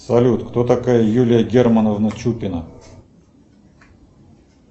салют кто такая юлия германовна чупина